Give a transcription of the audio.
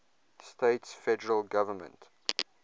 states federal government